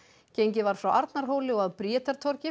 gengið var frá Arnarhóli og að